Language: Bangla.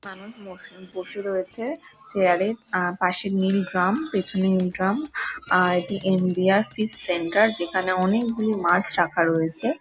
মানুষ বসে বসে রয়েছে চেয়ার -এ। আহ পাশে নীল ড্রাম পেছনে নীল ড্রাম আর দি ইন্ডিয়া ফিশ সেন্টার যেখানে অনেকগুলি মাছ রাখা রয়েছে।